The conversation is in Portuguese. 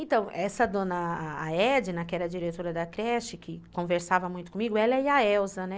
Então, essa dona Edna, que era a diretora da creche, que conversava muito comigo, ela e a Elza, né?